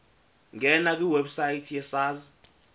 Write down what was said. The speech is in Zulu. ngena kwiwebsite yesars